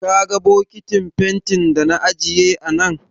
Ka ga bokitin fentin da na ajiye a nan?